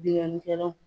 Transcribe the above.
Bingani kɛlaw